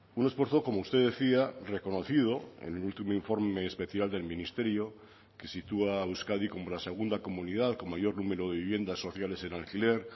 un esfuerzo como usted decía reconocido en el último informe especial del ministerio que sitúa a euskadi como la segunda comunidad con mayor número de viviendas sociales en alquiler